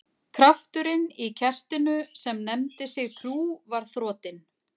Krafturinn í kertinu sem nefndi sig trú var þrotinn.